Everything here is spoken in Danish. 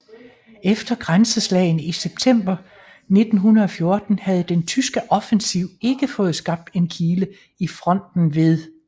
Efter grænseslagene i september 1914 havde den tyske offensiv ikke fået skabt en kile i fronten ved St